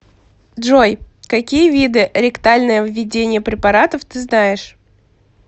джой какие виды ректальное введение препаратов ты знаешь